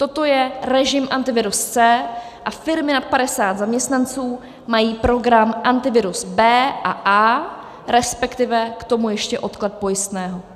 Toto je režim Antivirus C a firmy nad 50 zaměstnanců mají program Antivirus B a A, respektive k tomu ještě odklad pojistného.